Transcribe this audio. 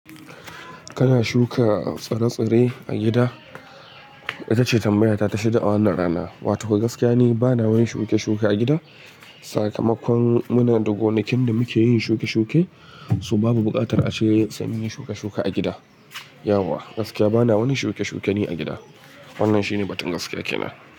Kana shuka tsire-tsire a gida ita ce tambayata ta shida a wannan rana. Wato gaskiya ni bana wani shuke-shuke a gida. Sakamakon muna da gonakin da muke yin shuke-shuke, so babu buƙatar a ce sam yin shuke-shuke a gida. Yauwa, gaskiya bana wani shuke-shuke ni a gida. Wannan shine batun gaskiya kenan.